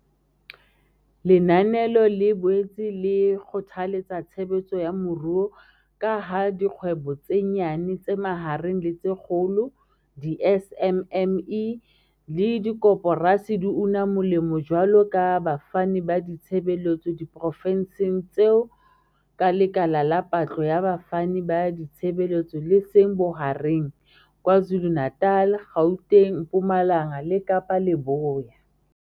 Lenanelo le boetse le kgothaletsa tshebetso ya moruo ka ha dikgwebo tse nyane, tse mahareng le tse kgolo, di-SMME, le dikoporasi di una molemo jwaloka bafani ba ditshebeletso diprofenseng tseo ka lekala la patlo ya bafani ba ditshebeletso le seng bohareng, KwaZulu-Natal, Gauteng, Mpumalanga le Kapa Leboya.